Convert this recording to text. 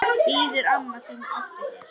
Bíður amma þín eftir þér?